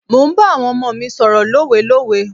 Mò ń bá àwọn ọmọ mi sọ̀rọ̀ lówelówe.